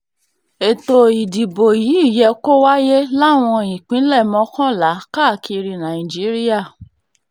ètò ìdìbò yìí yẹ kó wáyé láwọn ìpínlẹ̀ mọ́kànlá káàkiri nàìjíríà